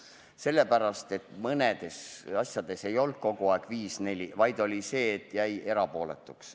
Seda sellepärast, et mõnes asjas ei olnud seis 5 : 4, vaid oli sedasi, et keegi jäi erapooletuks.